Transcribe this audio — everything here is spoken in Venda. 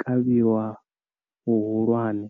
kavhiwa hu hulwane.